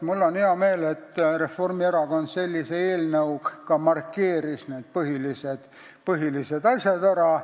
Mul on hea meel, et Reformierakond sellise eelnõuga need põhilised asjad ära markeeris.